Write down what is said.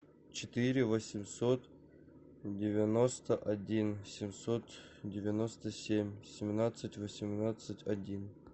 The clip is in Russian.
четыре восемьсот девяносто один семьсот девяносто семь семнадцать восемнадцать один